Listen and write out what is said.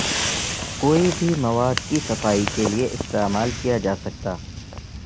کوئی بھی مواد کی صفائی کے لئے استعمال کیا جا سکتا